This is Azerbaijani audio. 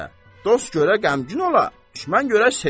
Dost görə qəmgin ola, düşmən görə sevinə.